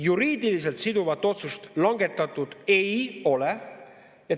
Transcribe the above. Juriidiliselt siduvat otsust langetatud ei ole.